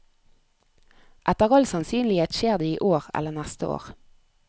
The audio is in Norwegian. Etter all sannsynlighet skjer det i år eller neste år.